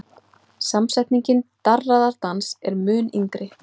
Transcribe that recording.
Samsetningin darraðardans er mun yngri.